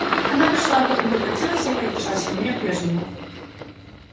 она пришла потом прекратилась и опять пришла сильнее прежнего